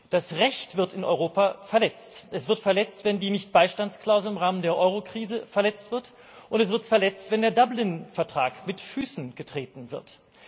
Das Recht wird in Europa verletzt Es wird verletzt, wenn die Nichtbeistandsklausel im Rahmen der Eurokrise verletzt wird, und es wird verletzt, wenn der Dublin Vertrag mit Füßen getreten wird.